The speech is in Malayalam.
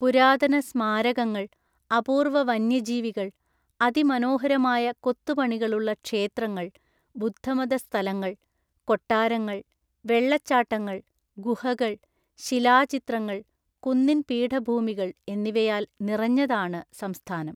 പുരാതന സ്മാരകങ്ങൾ, അപൂർവ വന്യജീവികൾ, അതിമനോഹരമായ കൊത്തുപണികളുള്ള ക്ഷേത്രങ്ങൾ, ബുദ്ധമത സ്ഥലങ്ങൾ, കൊട്ടാരങ്ങൾ, വെള്ളച്ചാട്ടങ്ങൾ, ഗുഹകൾ, ശിലാചിത്രങ്ങൾ, കുന്നിൻ പീഠഭൂമികൾ എന്നിവയാൽ നിറഞ്ഞതാണ് സംസ്ഥാനം.